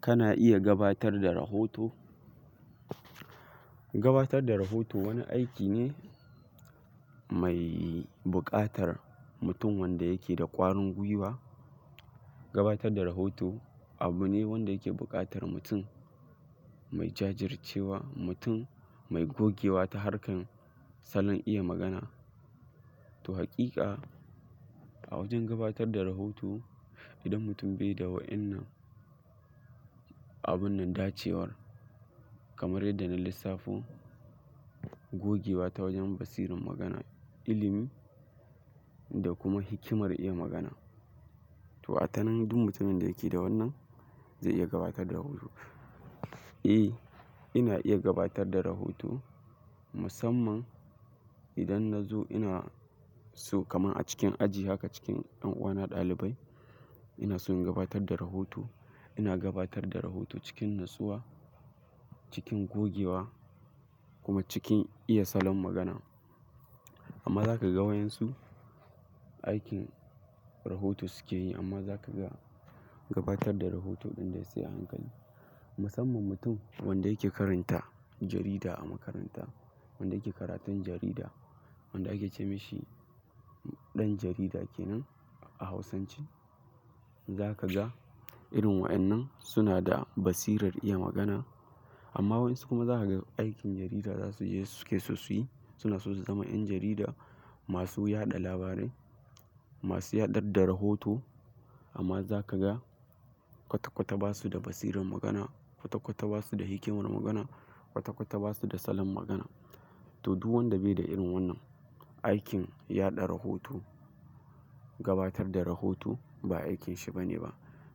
Kana iya gabatar da rahoto. Gabatar da rahoto wani aiki ne mai bukatar mutum wanda yake da ƙwarin gwiwa. Gabatar da rahoto abu ne wanda yake bukatar mutum mai jajjircewa, mutum mai gogewa ta harkan salon iya magana. To hakika, a wajen gabatar da rahoto idan mutum bai da wa'innan abun nan dacewar kamar yadda na lissafo gogewa ta wajen basiran magana, ilimi da kuma hikimar iya magana. To a tanan duk mutumin da yake da wannan zai iya gabatar da rahoto. Eh, ina iya gabatar da rahoto musamman idan na zo ina so kamar a cikin aji haka cikin ƴan uwa na ɗalibai. Ina so in gabatar da rahoto. Ina gabatar da rahoto cikin natsuwa, cikin gogewa kuma cikin iya salon magana. Amma za ka ga wayan su, aikin rahoto suke yi amma za ka ga gabatar da rahoto ɗin de sai a hankali. Musamman mutum wanda yake karanta jarida a makaranta, wanda yake karatun jarida, wanda ake ce mashi ɗan jarida kenan a Hausance, za ka ga irin wa'innan suna da basirar iya magana. Amma wayan su kuma za ka ga aikin jarida za su je suke so su yi, suna so su zama 'yan jarida masu yaɗa labarai, masu yaɗar da rahoto amma za ka ga kwata-kwata ba su da basiran magana, kwata-kwata ba su da hikimar magana, kwata-kwata ba su da salon magana. To duk wanda bai da irin wannan aikin yaɗa rahoto, gabatar da rahoto ba aikin shi bane ba.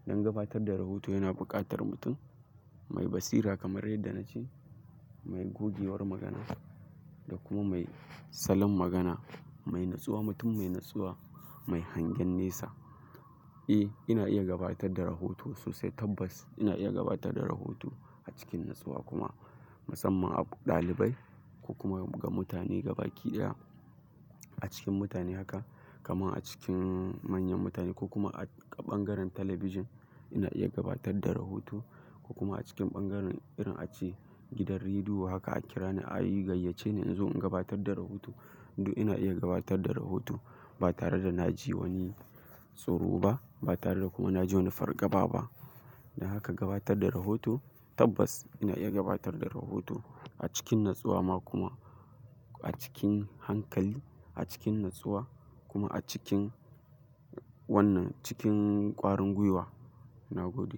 Don gabatar da rahoto yana bukatar mutum mai basira kamar yadda na ce, mai gogewar magana da kuma mai salon magana, mai natsuwa, mutum mai natsuwa, mai hangen nesa. Eh, ina iya gabatar da rahoto sosai tabbas. Ina iya gabatar da rahoto a cikin natsuwa kuma musamman a ɗalibai ko kuma ga mutane gaba kiɗaya. A cikin mutane haka kamar a cikin manyan mutane ko kuma a ɓangaren talabijin ina iya gabatar da rahoto ko kuma a cikin ɓangaren irin ace gidan rediyo haka a kira ni a yi gayyace ni in zo in gabatar da rahoto. To ina iya gabatar da rahoto ba tare da na ji wani tsoro ba, ba tare da kuma na ji wani fargaba ba. Haka gabatar da rahoto tabbas ina iya gabatar da rahoto a cikin natsuwa ma kuma a cikin hankali, a cikin natsuwa kuma a cikin wannan cikin ƙwarin gwiwa nagode.